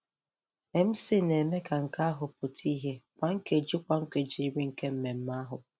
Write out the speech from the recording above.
MC na-eme ka nke ahụ pụta ìhè kwa nkeji kwa nkeji iri nke mmemme ahụ.